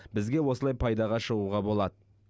бізге осылай пайдаға шығуға болады